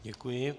Děkuji.